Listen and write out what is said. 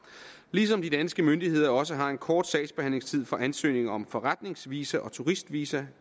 ligesom de danske myndigheder også har en kort sagsbehandlingstid for ansøgninger om forretningsvisa og turistvisa